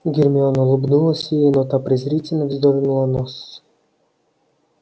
гермиона улыбнулась ей но та презрительно вздёрнула нос